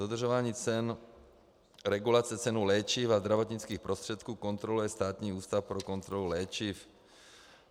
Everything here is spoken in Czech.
Dodržování cen, regulace cen léčiv a zdravotnických prostředků kontroluje Státní ústav pro kontrolu léčiv.